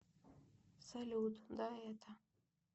салют да это